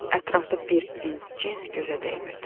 Ətrafda bir inc cins gözə dəymirdi.